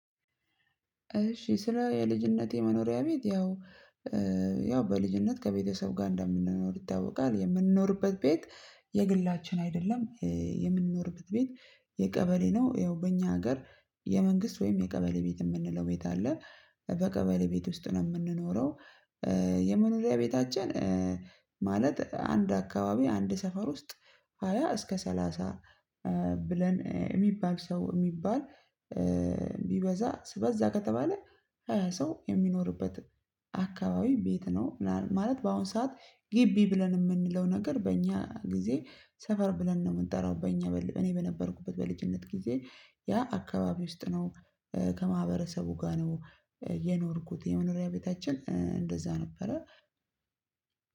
እሺ ስለ የልጅነቴ መኖሪያ ቤት ያው ያው በልጅነት ከቤተሰብ ጋር እንደምንኖር ይታወቃል የምንኖርበት ቤት የግላችን አይደለም የምንኖርበት ቤት የቀበሌ ነው ያው በእኛ ሀገር የመንግስት ወይም የቀበሌ ቤት የምንለው ቤት አለ በቀበሌ ቤት ውስጥ ነው የምንኖረው። የመኖሪያ ቤታችን ማለት አንድ አካባቢ አንድ ሰፈር ውስጥ ሃያ እስከ ሰላሳ ብለን የሚባል ሰው የሚባል ቢበዛ በዛ ከተባለ ሰው የሚኖርበት አካባቢ ቤት ነው። ምናምን ማለት በአሁን ሰዓት ግቢ ብለን የምንለው ነገር በእኛ ጊዜ ሰፈር ብለን ነው የምንጠራው። በእኛ በል እኔ በነበርኩበት በልጅነት ጊዜ ያ አካባቢ ውስጥ ነው ከማህበረሰቡ ጋር ነው የኖርኩት የመኖሪያ ቤታችን እንደዛ ነበረ።